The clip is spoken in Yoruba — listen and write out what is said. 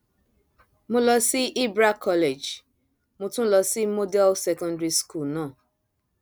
mo lọ sí ibra college mo tún lọ sí model secondary school náà